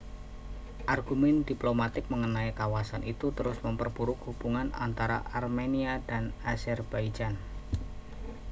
argumen diplomatik mengenai kawasan itu terus memperburuk hubungan antara armenia dan azerbaijan